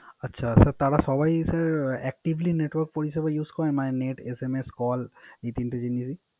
আচ্ছা তারা সবাই Actively network পরিষেবা Use করে। তারা Net SMS Call এই তিনটে জিনিস ই